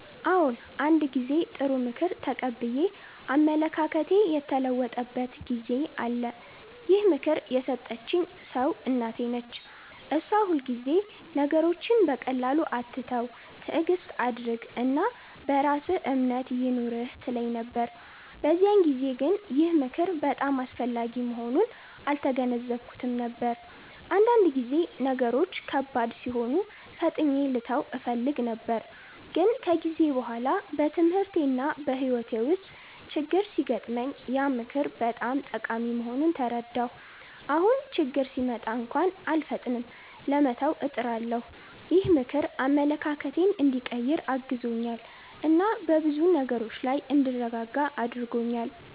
አዎ፣ አንድ ጊዜ ጥሩ ምክር ተቀብዬ አመለካከቴ የተለወጠበት ጊዜ አለ። ይህን ምክር የሰጠኝ ሰው እናቴ ነች። እሷ ሁልጊዜ “ነገሮችን በቀላሉ አትተው፣ ትዕግስት አድርግ እና በራስህ እምነት ይኑርህ” ትለኝ ነበር። በዚያን ጊዜ ግን ይህ ምክር በጣም አስፈላጊ መሆኑን አልተገነዘብኩትም ነበር፤ አንዳንድ ጊዜ ነገሮች ከባድ ሲሆኑ ፈጥኜ ልተው እፈልግ ነበር። ግን ከጊዜ በኋላ በትምህርቴና በሕይወቴ ውስጥ ችግኝ ሲገጥመኝ ያ ምክር በጣም ጠቃሚ መሆኑን ተረዳሁ። አሁን ችግኝ ሲመጣ እንኳን አልፈጥንም ለመተው፣ እጥራለሁ። ይህ ምክር አመለካከቴን እንዲቀይር አግዞኛል እና በብዙ ነገሮች ላይ እንድረጋጋ አድርጎኛል።